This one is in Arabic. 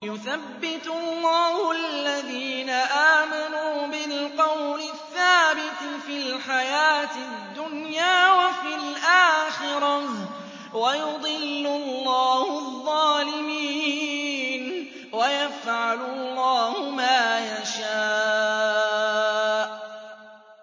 يُثَبِّتُ اللَّهُ الَّذِينَ آمَنُوا بِالْقَوْلِ الثَّابِتِ فِي الْحَيَاةِ الدُّنْيَا وَفِي الْآخِرَةِ ۖ وَيُضِلُّ اللَّهُ الظَّالِمِينَ ۚ وَيَفْعَلُ اللَّهُ مَا يَشَاءُ